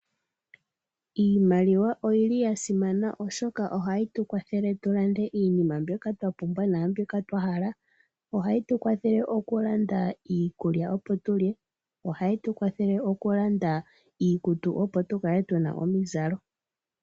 Iimaliwa oyi li ya simana oshoka ohayi tu kwathele tu lande iinima mbyoka twa pumbwa naambyoka twa hala. Ohayi tu kwathele okulanda iikulya, opo tu lye, ohayi tu kwathele okulanda iikutu opo tu kale tu na omizalo.